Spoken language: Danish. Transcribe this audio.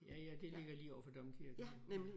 Ja ja det ligger lige overfor domkirken jo ja